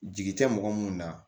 Jigi tɛ mɔgɔ mun na